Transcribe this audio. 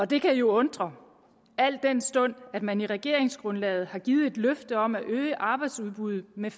det kan jo undre al den stund at man i regeringsgrundlaget har givet et løfte om at øge arbejdsudbuddet med